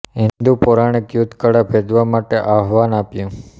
હિન્દુ પૌરાણિક યુદ્ધ કળા ભેદવા માટે આહ્વાન આપ્યું